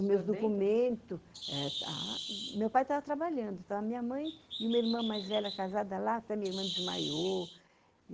Com meus documentos, meu pai estava trabalhando, estava minha mãe e uma irmã mais velha casada lá, até minha irmã desmaiou.